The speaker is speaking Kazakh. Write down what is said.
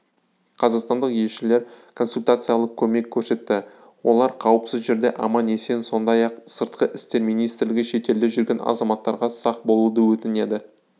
қазақстандық елшілер консультациялық көмек көрсетті олар қауіпсіз жерде аман-есен сондай-ақ сыртқы істер министрлігі шетелде жүрген азаматтарға сақ болуды өтінеді